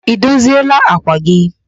Ị dozieela àkwà gị?